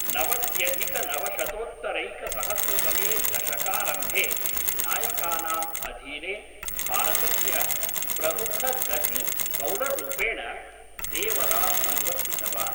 नवत्यधिकनवशतोत्तरैकसहस्रतमे दशकारम्भे, नायकानाम् अधीने, भारतस्य प्रमुखगतिबौलर्रूपेण देवः अनुवर्तितवान्।